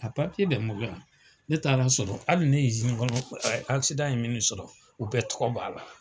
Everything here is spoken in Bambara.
A papiye bɛ n bolo yan, ne taara sɔrɔ hali ne izini kɔnɔ ye min sɔrɔ u bɛɛ tɔgɔ b'a la.